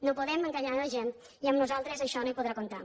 no podem enganyar la gent i amb nosaltres en això no hi podrà comptar